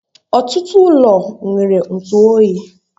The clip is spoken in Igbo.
Ọtụtụ ụlọ ọrụ nwere ntụ oyi